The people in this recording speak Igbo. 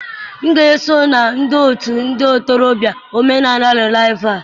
M ga-esonye n'otu ndị ntorobịa omenala rịvaịval